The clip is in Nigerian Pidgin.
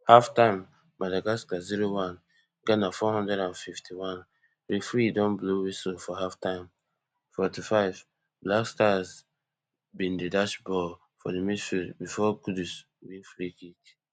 halftime madagascar zero one ghana four hundred and fifty-one referee don blow whistle for halftime forty-fiveblackstars bin dey dash ball for di midfield bifor kudus win freekick